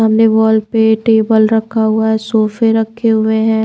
हमने वॉल पे टेबल रखा हुआ है सोफे रखे हुए है।